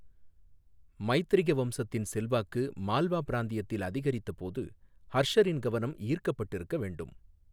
மைத்திரக வம்சத்தின் செல்வாக்கு மால்வா பிராந்தியத்தில் அதிகரித்தபோது ஹர்ஷரின் கவனம் ஈர்க்கப்பட்டிருக்க வேண்டும்.